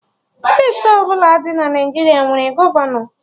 Steeti ọbụla dị na Naijiria nwere gọvanọ